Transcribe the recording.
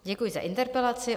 Děkuji za interpelaci.